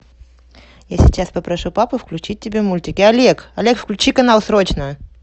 я сейчас попрошу папу включить тебе мультики олег олег включи канал срочно